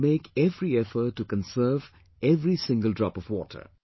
We should make every effort to conserve every single drop of water